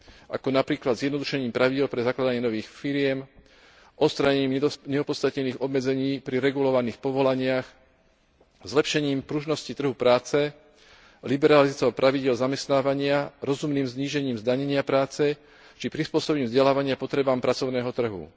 ako napríklad zjednodušením pravidiel pre zakladanie nových firiem, odstránením neopodstatnených obmedzení pri regulovaných povolaniach, zlepšením pružnosti trhu práce, liberalizáciou pravidiel zamestnávania, rozumným znížením zdanenia práce či prispôsobením vzdelávania potrebám pracovného trhu.